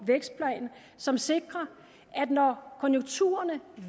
vækstplan som sikrer at når konjunkturerne